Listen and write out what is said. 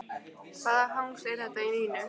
Hvaða hangs er þetta í Nínu?